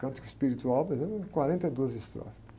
Cântico espiritual, por exemplo, é quarenta e duas estrofes.